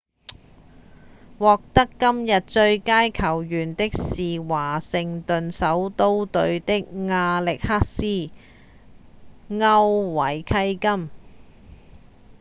獲得今日最佳球員的是華盛頓首都隊的亞歷克斯．歐維契金